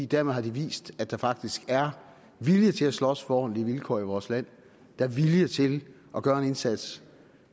dermed har de vist at der faktisk er vilje til at slås for ordentlige vilkår i vores land der er vilje til at gøre en indsats